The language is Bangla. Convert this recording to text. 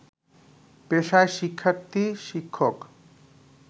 পেশায় শিক্ষার্থী, শিক্ষক